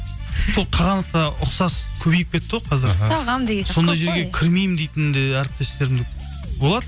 сол қағанатқа ұқсас көбейіп кетті ғой қазір жерге кірмеймін дейтін де әріптестерім болады